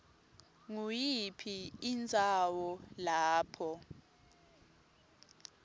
nguyiphi indzawo lapho